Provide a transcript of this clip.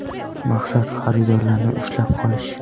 Maqsad xaridorlarni ushlab qolish.